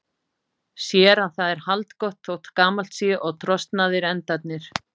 Sér að það er haldgott þótt gamalt sé og trosnaðir endarnir.